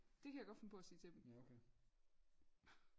Det kan jeg godt finde på at sige til dem